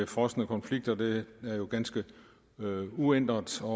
frosne konflikter det er jo ganske uændret og